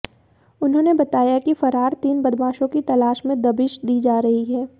उन्होंने बताया कि फरार तीन बदमाशों की तलाश में दबिश दी जा रही है